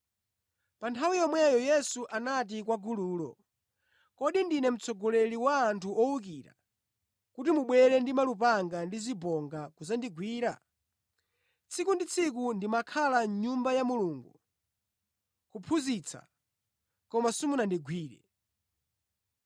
Pa nthawi yomweyo Yesu anati kwa gululo, “Kodi ndine mtsogoleri wa anthu owukira kuti mwabwera ndi malupanga ndi zibonga kudzandigwira? Tsiku ndi tsiku ndimakhala mʼNyumba ya Mulungu kuphunzitsa, koma simunandigwire.